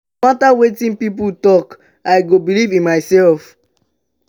no mata wetin pipo tok i go believe in mysef.